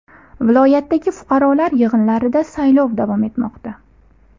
Viloyatdagi fuqarolar yig‘inlarida saylov davom etmoqda.